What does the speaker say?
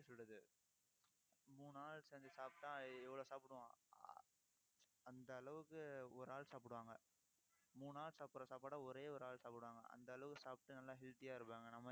எப்படி சொல்றது மூணு ஆள் செஞ்சு சாப்பிட்டா எவ்வளவு சாப்பிடுவோம் ஆஹ் அந்த அளவுக்கு, ஒரு ஆள் சாப்பிடுவாங்க. மூணு ஆள் சாப்பிடுற சாப்பாடை ஒரே ஒரு ஆள் சாப்பிடுவாங்க. அந்த அளவு சாப்பிட்டு நல்லா healthy ஆ இருப்பாங்க. நம்ம